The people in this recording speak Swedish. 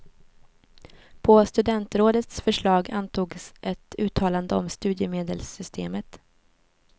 På studentrådets förslag antogs ett uttalande om studiemedelssystemet.